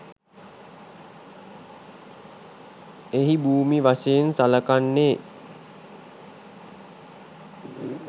එහි භූමි වශයෙන් සළකන්නේ